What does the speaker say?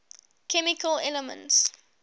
chemical elements